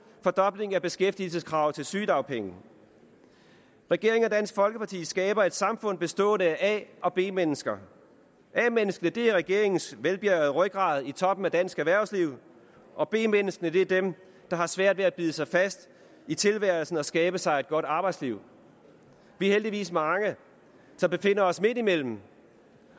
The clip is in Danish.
fordobling af beskæftigelseskravet til sygedagpenge regeringen og dansk folkeparti skaber et samfund bestående af a og b mennesker a menneskene er regeringens velbjærgede rygrad i toppen af dansk erhvervsliv og b menneskene er dem der har svært ved at bide sig fast i tilværelsen og skabe sig et godt arbejdsliv vi er heldigvis mange som befinder os midt imellem